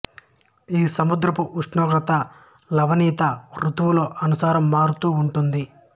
ఈ సముద్రపు ఉష్ణోగ్రత లవణీయత ఋతువుల అనుసారం మారుతూ వుంటుంది